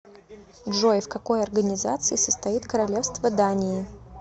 джой в какой организации состоит королевство дании